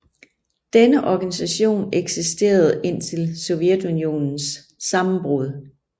Denne organisation eksisterede indtil Sovjetunionens sammenbrud